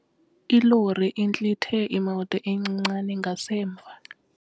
Ilori intlithe imoto encinane ngasemva.